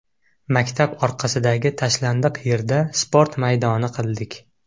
Maktab orqasidagi tashlandiq yerda sport maydoni qildik.